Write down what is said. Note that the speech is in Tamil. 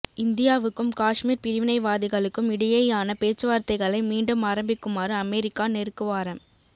இந்தியாவுக்கும் காஷ்மீர் பிரிவினைவாதிகளுக்கும் இடையேயான பேச்சுவார்த்தைகளை மீண்டும் ஆரம்பிக்குமாறு அமெரிக்கா நெருக்குவாரம்